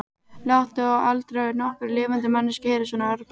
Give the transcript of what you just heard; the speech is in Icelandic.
Láttu aldrei nokkra lifandi manneskju heyra svona orðbragð.